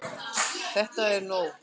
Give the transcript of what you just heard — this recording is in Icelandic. ÞETTA ER NÓG!